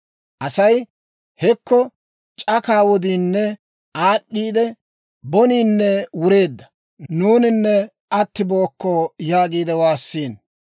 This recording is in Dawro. Asay, «Hekko c'akaa wodiinne aad'd'eeda; boniinne wureedda; nuuninne attibookko» yaagiide waassiino.